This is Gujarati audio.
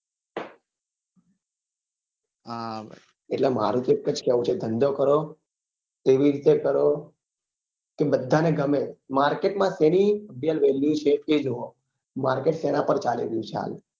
એટલે મારું તો એક જ કેવું છે ધંધો કરો saving એવી રીતે કરો કે બધા ને ગમે market માં saving market સેના પર છે એ જોવો market સેના પર ચાલી રહ્યું છે હાલ